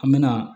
An me na